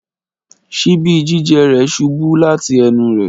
ṣíbì jijẹ rẹ ṣubu lati ẹnu rẹ.